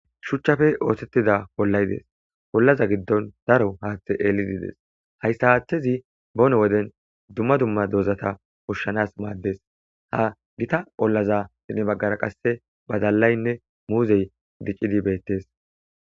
Shuchchappe othtetida ollayi deesi ollaza giddon daro haththay ellidi de''esi hayissa haththezi bonne wode duma duma dozata ushshanas maddesi ha gitta ollazappe pudde baggara qase baddalayinne muzzeyi diccidi bettesi.